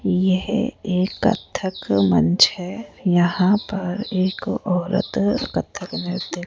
यह एक कत्थक मंच है यहां पर एक औरत कत्थक नृत्य --